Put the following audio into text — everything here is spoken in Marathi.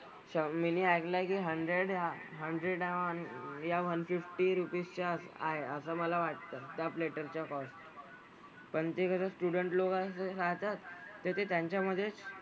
अच्छा मी नी ऐकलंय की हंड्रेड हंड्रेड या वन फिफ्टी रुपीस च्या आहे असं मला वाटतं. त्या प्लेटरचा कॉस्ट पण ते कसं स्टुडंट लोकांचं सांगतात तर ते त्यांच्यामधेच,